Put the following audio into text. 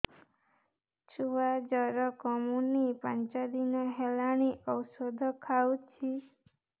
ଛୁଆ ଜର କମୁନି ପାଞ୍ଚ ଦିନ ହେଲାଣି ଔଷଧ ଖାଉଛି